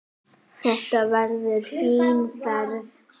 Þetta verður fín ferð.